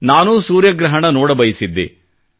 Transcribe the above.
ನಾನೂ ಸೂರ್ಯಗ್ರಹಣ ನೋಡಬಯಸಿದ್ದೆ